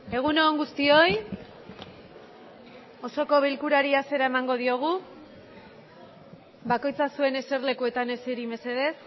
egun on guztioi osoko bilkurari hasiera emango diogu bakoitza zuen eserlekuetan eseri mesedez